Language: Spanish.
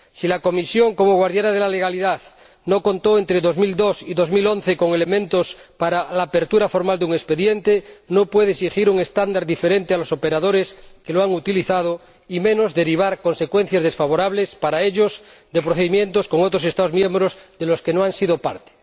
Si la Comisión, como guardiana de la legalidad, no contó entre 2002 y 2011 con elementos para la apertura formal de un expediente, no puede exigir un estándar diferente a los operadores que lo han utilizado y, menos aún, derivar consecuencias desfavorables para ellos de procedimientos con otros Estados miembros de los que no han sido parte.